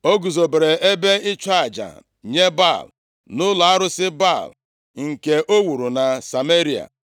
O guzobere ebe ịchụ aja nye Baal, nʼụlọ arụsị Baal nke o wuru na Sameria.